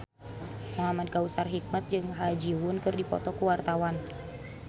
Muhamad Kautsar Hikmat jeung Ha Ji Won keur dipoto ku wartawan